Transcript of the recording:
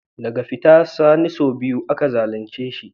Daga fita Sani sau biyu aka zalunce shi.